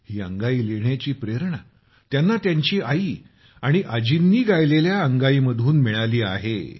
ही अंगाई लिहिण्याची प्रेरणा त्यांना त्यांची आई आणि आजींनी गायलेल्या अंगाई मधून मिळाली आहे